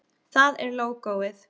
Það er lógóið.